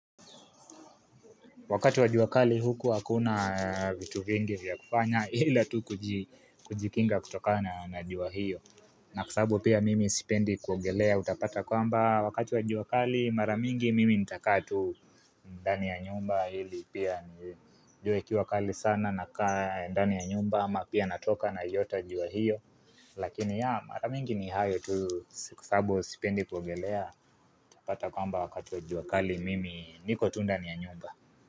Wakati wa jua kali huku hakuna vitu vingi vya kufanya ila tu kujikinga kutoka na jua hiyo. Na kwa sababu pia mimi sipendi kuogelea utapata kwamba wakati wa jua kali mara mingi mimi nitakaa tu ndani ya nyumba ili pia jua ikiwa kali sana nakaa ndani ya nyumba ama pia natoka naiyota jua hiyo. Lakini ya maramingi ni hayo tu kwa sababu sipendi kuogelea utapata kwamba wakati wa jua kali mimi niko tu ndani ya nyumba.